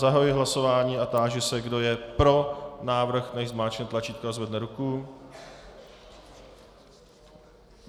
Zahajuji hlasování a táži se, kdo je pro návrh, nechť zmáčkne tlačítko a zvedne ruku.